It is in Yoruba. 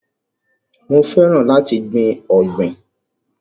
Mo fẹ́ràn láti gbìn ọ̀gbìn.